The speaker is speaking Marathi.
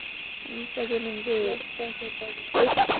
आम्ही सगळे म्हणजे एक,